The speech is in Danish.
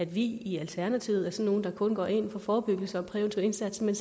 vi i alternativet er sådan nogle der kun går ind for forebyggelse og præventiv indsats men